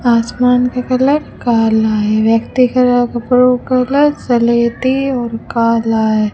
आसमान का कलर काला है व्यक्ति के अलावा कपड़ों का कलर स्लेटी और कला है।